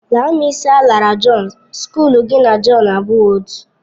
Laa m isi alara Jọn, skọlu gị na Jọn abụghị otú.